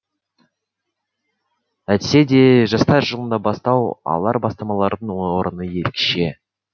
әйтсе де жастар жылында бастау алар бастамалардың орны ерекше